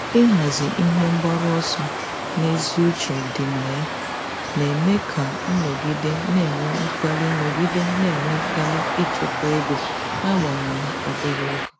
Ịhazi ihe mgbaru ọsọ ezi uche dị na ya na-eme ka m nọgide na-enwe mkpali nọgide na-enwe mkpali ichekwa ego n'agbanyeghị obere ego.